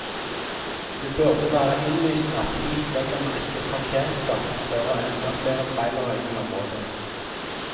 Det burde være innlysende at hit legger man ikke en parkeringsplass som fører enda flere trailere inn i området.